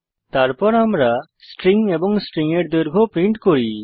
তারপর আমরা স্ট্রিং এবং স্ট্রিং এর দৈর্ঘ্য প্রিন্ট করি